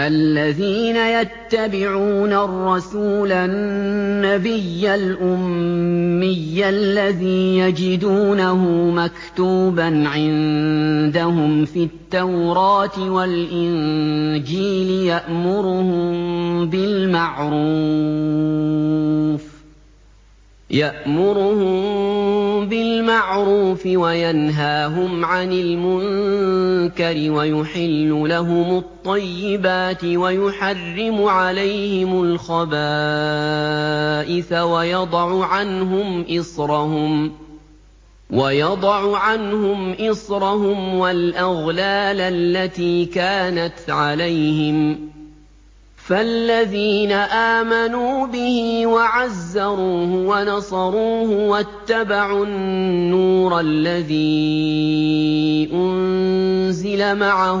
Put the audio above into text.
الَّذِينَ يَتَّبِعُونَ الرَّسُولَ النَّبِيَّ الْأُمِّيَّ الَّذِي يَجِدُونَهُ مَكْتُوبًا عِندَهُمْ فِي التَّوْرَاةِ وَالْإِنجِيلِ يَأْمُرُهُم بِالْمَعْرُوفِ وَيَنْهَاهُمْ عَنِ الْمُنكَرِ وَيُحِلُّ لَهُمُ الطَّيِّبَاتِ وَيُحَرِّمُ عَلَيْهِمُ الْخَبَائِثَ وَيَضَعُ عَنْهُمْ إِصْرَهُمْ وَالْأَغْلَالَ الَّتِي كَانَتْ عَلَيْهِمْ ۚ فَالَّذِينَ آمَنُوا بِهِ وَعَزَّرُوهُ وَنَصَرُوهُ وَاتَّبَعُوا النُّورَ الَّذِي أُنزِلَ مَعَهُ ۙ